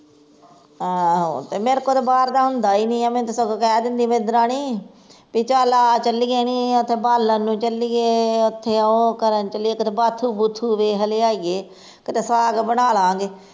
ਆਹੋ ਤੇ ਮੇਰੇ ਕੋਲੋਂ ਤਾਂ ਬਾਹਰ ਦਾ ਹੁੰਦਾ ਈ ਨੀ ਆ ਮੈਨੂੰ ਤੇ ਸਗੋਂ ਕਹਿ ਦਿੰਦੀ ਮੇਰੀ ਦਰਾਣੀ, ਵੀ ਚੱਲ ਆ ਚੱਲੀਏ ਨੀ ਓਥੇ ਬਾਲਣ ਨੂੰ ਚੱਲੀਏ ਓਥੇ ਓਹ ਕਰਨ ਚੱਲੀਏ ਕਿਤੇ ਬਾਥੁ ਬੂਥ ਦੇਖ ਲਿਆਈਏ, ਕਿਤੇ ਸਾਗ ਬਨਾਲਾਂਗੇ